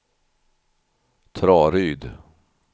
Traryd